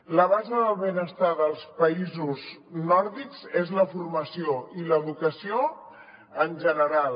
la base del benestar dels països nòrdics és la formació i l’educació en general